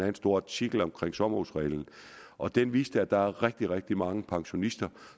en stor artikel om sommerhusreglen og den viste at der er rigtig rigtig mange pensionister